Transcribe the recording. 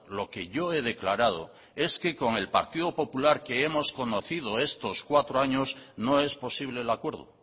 lo que yo he declarado es que con el partido popular que hemos conocido estos cuatro años no es posible el acuerdo